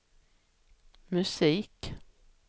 musik